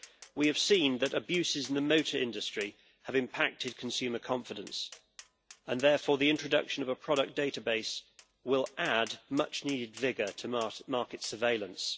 We have seen that abuses in the motor industry have impacted on consumer confidence, and therefore the introduction of a product database will add much needed vigour to mass-market surveillance.